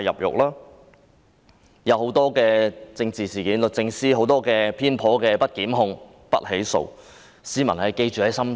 在多宗政治事件上，律政司作出種種偏頗的不提檢控決定，市民會記在心中。